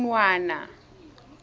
khunwana